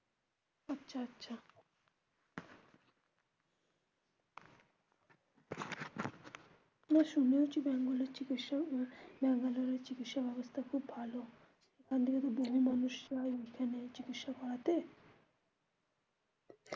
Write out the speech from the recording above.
শুনেওছি ব্যাঙ্গালোরের চিকিৎসা ব্যাঙ্গালোরের চিকিৎসা ব্যবস্থা খুব ভালো. এখান থেকে তো বহু মানুষ যায় ওখানে চিকিৎসা করাতে